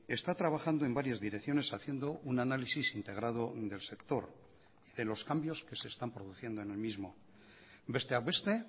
está trabajando en varias direcciones haciendo un análisis integrado del sector de los cambios que se están produciendo en el mismo besteak beste